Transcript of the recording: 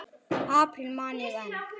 apríl man ég enn.